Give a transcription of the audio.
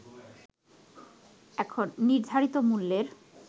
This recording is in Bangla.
এখন নির্ধারিত মূল্যের